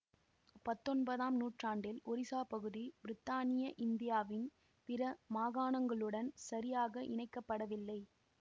பத்தொன்பதாம் நூற்றாண்டில் ஒரிசா பகுதி பிரித்தானிய இந்தியாவின் பிற மாகாணங்களுடன் சரியாக இணைக்கப்படவில்லை